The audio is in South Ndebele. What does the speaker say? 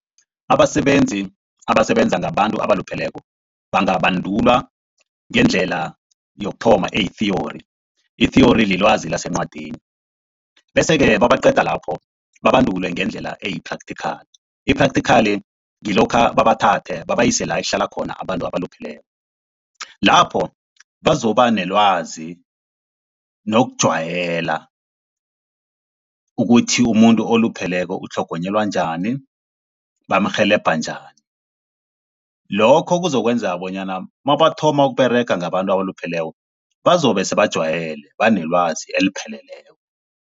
Abasebenzi abasebenza ngabantu abalupheleko bangabandulwa ngendlela yokuthoma eyi-theory. I-theory lilwazi lencwadini, bese-ke babaqeda lapho babandulwe ngendlela eyi-practical. I-practical ngilokha babathathe base la ekuhlala khona abantu abalupheleko, lapho bazokuba nelwazi nokujayela ukuthi umuntu olupheleko utlhogonyelwa njani, bamrhelebha njani. Lokho kuzokwenza bonyana nabathoma ukUberega ngabantu abalupheleko bazobe sebajayele, banelwazi elipheleleko.